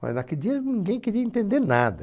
Mas naquele dia ninguém queria entender nada.